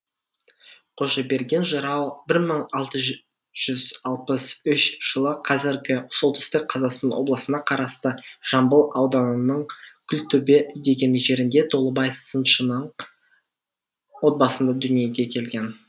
қожаберген жырау бір мың алты жүз алпыс үш жылы қазіргі солтүстік қазақстан облысына қарасты жамбыл ауданының күлтөбе деген жерінде толыбай сыншының отбасында дүниеге келген